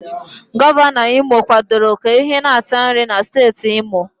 Gọvanọ Imo kwadoro ka ehi na-ata nri na steeti imo